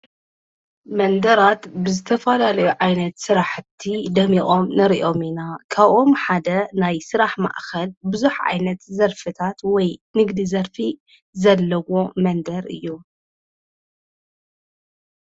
መንደራት ብዘተፋላለዮ ዓይነት ሠራሕቲ ደሚኦም ንርእዮሚና ካኦም ሓደ ናይ ሥራሕ ማኣኸድ ብዙኅ ዓይነት ዘርፍታት ወይ ንግዲ ዘርፊ ዘለዎ መንደር እዩ።